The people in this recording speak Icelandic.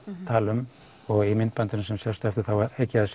tala um og í myndbandinu sem sést á eftir þá hygg ég að